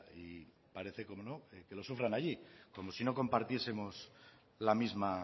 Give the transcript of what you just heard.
y parece como no que lo sufran allí como si no compartiesemos la misma